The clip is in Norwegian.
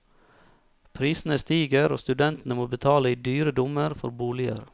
Prisene stiger, og studentene må betale i dyre dommer for boliger.